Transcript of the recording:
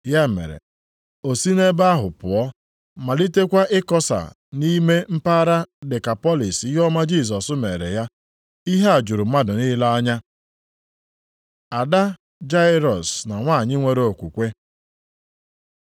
Ya mere, o si nʼebe ahụ pụọ, malitekwa ịkọsa nʼime mpaghara Dekapọlịs ihe ọma Jisọs meere ya. Ihe a juru mmadụ niile anya. Ada Jairọs na nwanyị nwere okwukwe